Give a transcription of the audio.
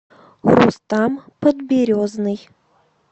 рустам подберезный